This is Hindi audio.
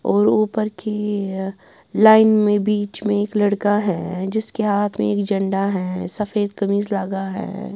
और ऊपर की लाइन में बीच में एक लड़का है जिसके हाथ में एक झंडा है सफेद कमीज लगा है।